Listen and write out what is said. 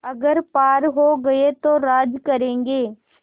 अगर पार हो गये तो राज करेंगे